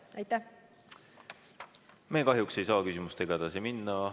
Me kahjuks ei saa küsimustega edasi minna.